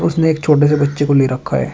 उसने एक छोटे से बच्चे को ले रखा है।